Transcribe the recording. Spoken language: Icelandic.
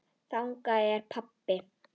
Þannig er pabbi.